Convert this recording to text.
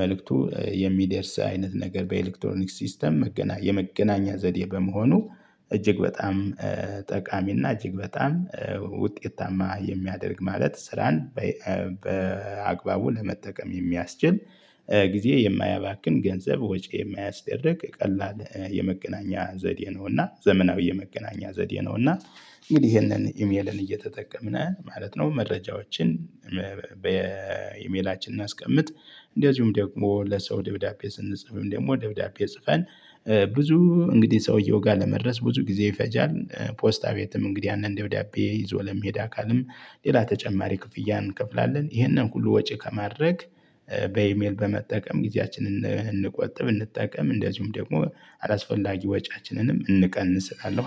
መልእክቱ የሚደርስ አይነት ነገር በኤሌክቶኒክስ ሲስተም የመገናኛ ዘዴ በመሆኑ እጅግ በጣም ጠቃሚና እጅግ በጣም ውጤታማ የሚያደርግ ማለት ስራን በአግባቡ ለመጠቀም የሚያስችል። ጊዜ የማያባክን ገንዘብ ወጪ የማያስደርግ ቀላል የመገናኛ ዘዴ ነውና ዘመናዊ የመገናኛ ዘዴ ነው። እና ይሄንን ኢሜልን እየተጠቀምን ማለት ነው። መረጃዎችን በኢሜላችን አስቀምጥ እንደዚሁም ደግሞ ለሰው ደብዳቤ ስንጽፍም ደግሞ ደብዳቤ ጽፈን ብዙ እንግዲህ ሰውየው ጋር ለመድረስ ብዙ ጊዜ ይፈጃል። ፖስታቤትም እንግዲህ አንድ ደብዳቤ ይዞ ለሚሄድ አካልም ሌላ ተጨማሪ ክፍያ እንከፍላለን። ይሄንን ሁሉ ወጪ ከማድረግ በኢሜል በመጠቀም ጊዜያችንን እንቆጥብ እንጠቀም እንደዚሁም ደግሞ አላስፈላጊ ወጪያችንንም እንቀንስ እሰራለሁ